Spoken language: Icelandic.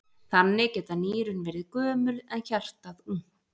Þannig geta nýrun verið gömul en hjartað ungt!